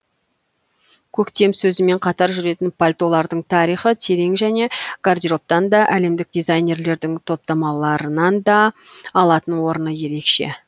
көктем сөзімен қатар жүретін пальтолардың тарихы терең және гардеробтан да әлемдік дизайнерлердің топтамаларынан да алатын орны ерекше